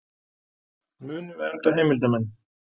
Munu vernda heimildarmenn